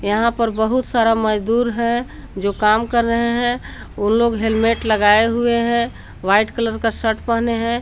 यहां पर बहुत सारा मजदूर है जो काम कर रहे हैं उन लोग हेलमेट लगाए हुए हैं व्हाइट कलर का शर्ट पहने हैं।